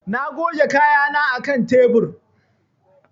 Na goge kayana a kan tebur.